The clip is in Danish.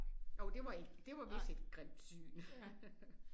Jo det var et det var vist et grimt syn